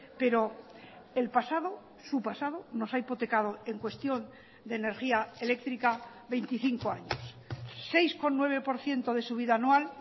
pero el pasado su pasado nos ha hipotecado en cuestión de energía eléctrica veinticinco años seis coma nueve por ciento de subida anual